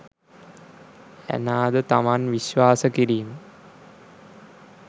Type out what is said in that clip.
Anna ද තමන් විශ්වාස කිරීම